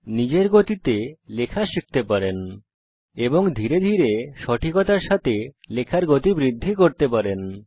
নিজের গতিতে লেখা শিখতে পারেন এবং ধীরে ধীরে সঠিকতার সাথে লেখার গতি বৃদ্ধি করতে পারি